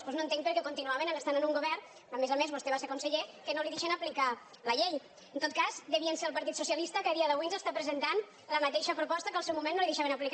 doncs no entenc perquè continuaven estant en un govern a més a més vostè va ser conseller que no li deixen aplicar la llei en tot cas devia ser el partit socialista que a dia d’avui ens està presentant la mateixa proposta que al seu moment no li deixaven aplicar